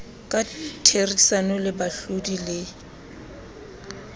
ka therisano le baahlodi le